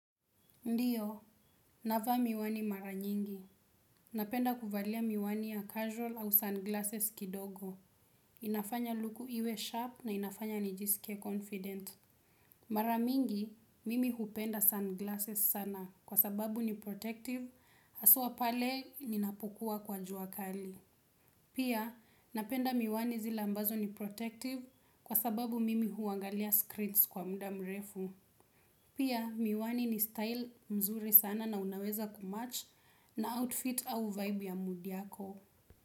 Ndiyo, navaa miwani mara nyingi. Napenda kuvaa miwani ya casual au sunglasses kidogo. Inafanya luku iwe sharp na inafanya nijisikie confident. Mara mingi, mimi hupenda sunglasses sana kwa sababu ni protective haswa pale ninapokuwa kwa juakali. Pia, napenda miwani zile ambazo ni protective kwa sababu mimi huangalia screens kwa muda mrefu. Pia miwani ni style mzuri sana na unaweza kumatch na outfit au vibe ya mwili wako.